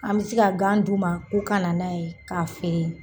An bɛ se ka gan d'u ma k'o ka na n'a ye k'a feere.